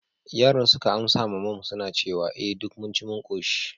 yaran suka amsa ma mum suna cewa, eh duk mun ci mun koshi